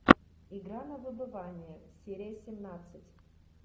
игра на выбывание серия семнадцать